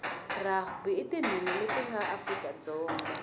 rugby inatinhenha letinga afrika dzonga